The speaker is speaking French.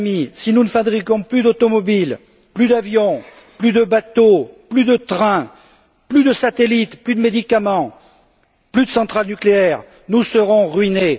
Mais mes amis, si nous ne fabriquons plus d'automobiles, plus d'avions, plus de bateaux, plus de trains, plus de satellites, plus de médicaments, plus de centrales nucléaires, nous serons ruinés!